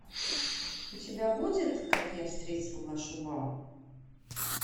у тебя будет как я встретил вашу маму